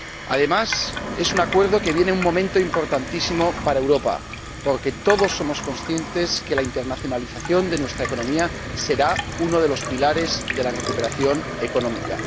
Además, es un acuerdo que viene en un momento importantísimo para Europa, porque todos somos conscientes de que la internacionalización de nuestra economía será uno de los pilares de la recuperación económica.